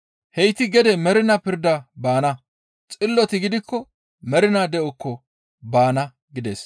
Heyti gede mernaa pirdan baana; xilloti gidikko mernaa de7okko baana» gides.